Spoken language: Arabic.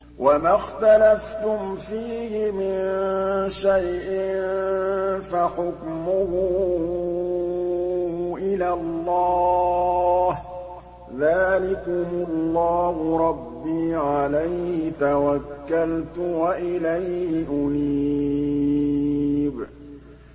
وَمَا اخْتَلَفْتُمْ فِيهِ مِن شَيْءٍ فَحُكْمُهُ إِلَى اللَّهِ ۚ ذَٰلِكُمُ اللَّهُ رَبِّي عَلَيْهِ تَوَكَّلْتُ وَإِلَيْهِ أُنِيبُ